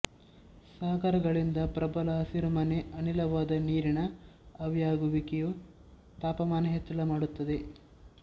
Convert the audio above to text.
ಸಾಗರಗಳಿಂದ ಪ್ರಬಲ ಹಸಿರುಮನೆ ಅನಿಲವಾದ ನೀರಿನ ಆವಿಯಾಗುವಿಕೆಯು ತಾಪಮಾನ ಹೆಚ್ಚಳ ಮಾಡುತ್ತದೆ